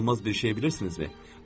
İnanılmaz bir şeyi bilirsinizmi?